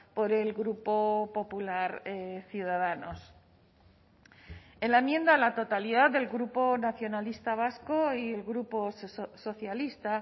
por el grupo popular ciudadanos en la enmienda a la totalidad del grupo nacionalista vasco y el grupo socialista